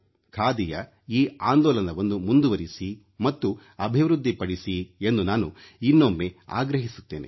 ಖಾದಿಯ ಈ ಆಂದೋಲನವನ್ನು ಮುಂದುವರಿಸಿ ಮತ್ತು ಅಭಿವೃದ್ಧಿಪಡಿಸಿ ಎಂದು ನಾನು ಇನ್ನೊಮ್ಮೆ ಆಗ್ರಹಿಸುತ್ತೇನೆ